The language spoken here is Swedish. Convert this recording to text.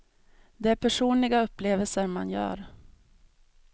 Det är personliga upplevelser man gör.